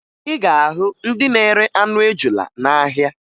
Ị ga-ahụ ndị na-ere anụ ejula n'ahịa